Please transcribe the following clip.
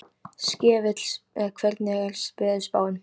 Skefill, hvernig er veðurspáin?